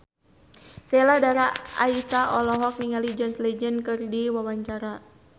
Sheila Dara Aisha olohok ningali John Legend keur diwawancara